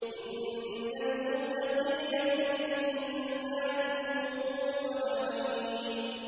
إِنَّ الْمُتَّقِينَ فِي جَنَّاتٍ وَنَعِيمٍ